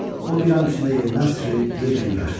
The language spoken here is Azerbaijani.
O bir an içində yerindən sıçrayıb yel kimi qaçdı.